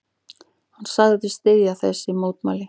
Hann sagðist styðja þessi mótmæli.